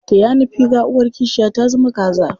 Taya ni figa, uwar kishiya ta zama kaza.